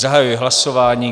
Zahajuji hlasování.